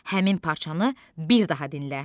Həmin parçanı bir daha dinlə.